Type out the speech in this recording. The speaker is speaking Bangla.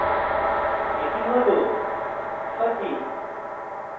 এটি সঠিক